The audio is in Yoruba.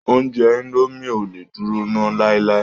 Oúnjẹ indo mie ò lé dúró nà láíláí